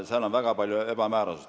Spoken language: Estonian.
Seal on väga palju ebamäärasust.